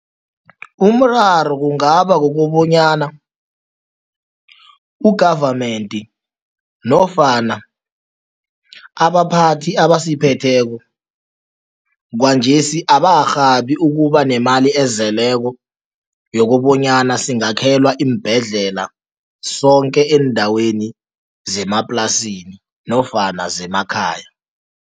Umraro kungaba kukobanyana u-government nofana abaphathi abayiphetheko kwanjesi abakarhabi ukuba nemali ezeleko yokobanyana singakhelwa iimbhedlela sonke eendaweni zemaplasini nofana zemakhaya.